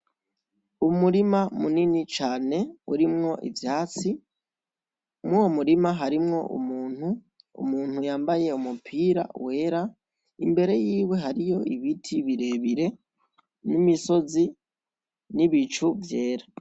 Umurima munini cane harimwo ivyatsi, mwuwo murima harimwo umuntu yamabaye umupira wera , imbere yiwe hariho ibiti birebire n'imisozi, n'ibicu vyera.